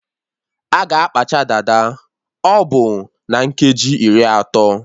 A ga-akpacha dada ọbụ na nkeji iri atọ